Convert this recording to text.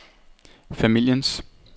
familiens